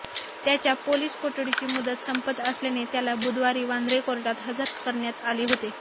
त्याच्या पोलीस कोठडीची मुदत संपत असल्याने त्याला बुधवारी वांद्रे कोर्टात हजर करण्यात आले होते